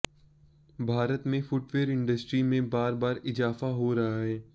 भारत में footwear industry में बार बार इजाफा हो रहा है